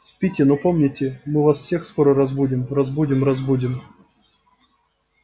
спите но помните мы вас всех скоро разбудим разбудим разбудим